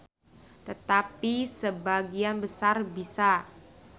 Tetapi sebagian besar bisa.